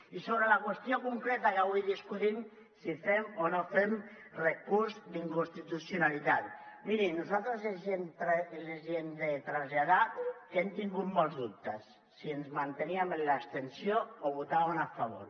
i sobre la qüestió concreta que avui discutim si fem o no fem recurs d’inconstitucionalitat miri nosaltres els hem de traslladar que hem tingut molts dubtes si ens manteníem en l’abstenció o hi votàvem a favor